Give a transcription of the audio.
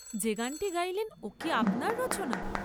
যে গানটি গাইলেন ওকি আপনার রচনা?